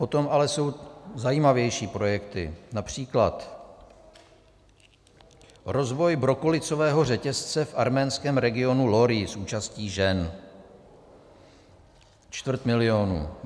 Potom ale jsou zajímavější projekty, například: Rozvoj brokolicového řetězce v arménském regionu Lori s účastí žen - čtvrt milionu.